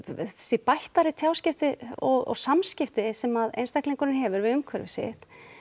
því bættari tjáskipti og samskipti sem að einstaklingurinn hefur við umhverfi sitt